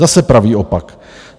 Zase pravý opak.